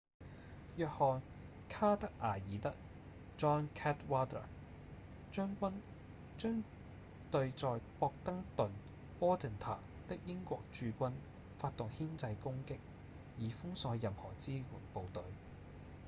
約翰·卡德瓦爾德 john cadwalder 將軍將對在博登敦 bordentown 的英國駐軍發動牽制攻擊以封鎖任何支援部隊